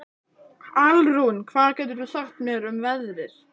Alrún, hvað geturðu sagt mér um veðrið?